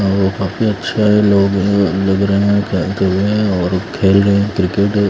ओ काफी अच्छे लोग हैं लग रहे हैं टहलते हुए हैं और खेल रहे हैं क्रिकेट ।